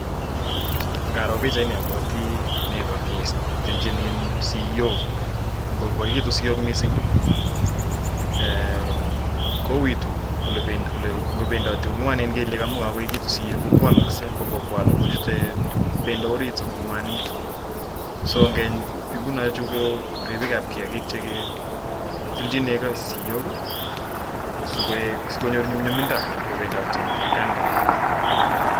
ndaro pichaini abwati neko ketilchin siyok, ngokoikitun siok mising kouitu ngopendoti, ngwanen kelyek, amun yekoikitu siyok kokwalakse kookwale kochute bendo orit sikongwanit, ripikab kiakik chetilchin neko siok sokonyor nyumnyumindo kobendote atkan koraa.